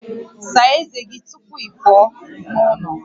Saa ezé gị tupu ị pụọ n'ụlọ